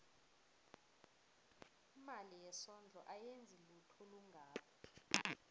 imali yesondlo ayenzi lutho olungako